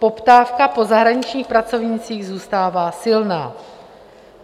Poptávka po zahraničních pracovnících zůstává silná.